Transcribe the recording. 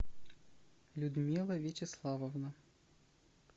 людмила вячеславовна